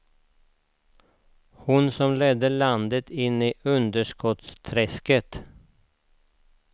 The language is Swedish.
Hon som ledde landet in i underskottsträsket.